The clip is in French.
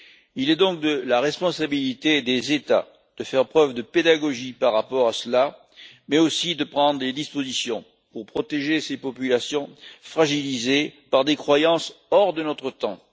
Il est donc de la responsabilité des États de faire preuve de pédagogie par rapport à cela, mais aussi de prendre des dispositions pour protéger ces populations fragilisées par des croyances hors de notre temps.